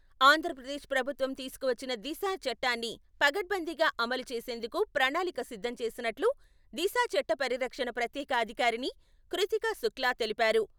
ఆంధ్రప్రదేశ్ ప్రభుత్వం తీసుకువచ్చిన దిశ చట్టాన్ని పకడ్బందీగా అమలు చేసేందుకు ప్రణాళిక సిద్ధం చేసినట్లు దిశా చట్ట పరిరక్షణ ప్రత్యేక అధికారిణి కృతికా శుక్లా తెలిపారు.